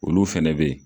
Olu fɛnɛ be yen